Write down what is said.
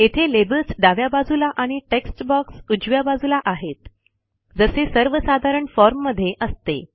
येथे लेबल्स डाव्या बाजूला आणि टेक्स्ट बॉक्स उजव्या बाजूला आहेत जसे सर्वसाधारण फॉर्ममध्ये असते